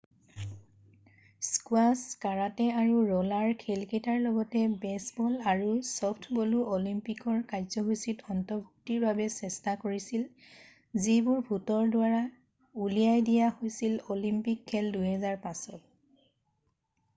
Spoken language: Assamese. "স্কোৱাছ কাৰাটে আৰু ৰʼলাৰ খেলকেইটাৰ লগতে বেছবল আৰু চফ্টবলো অলিম্পিকৰ কাৰ্যসূচীত অন্তৰ্ভুক্তিৰ বাবে চেষ্টা কৰিছিল যিবোৰ ভোটৰ দ্বাৰা উলিয়াই দিয়া হৈছিল অলিম্পিক খেল ২০০৫ত।""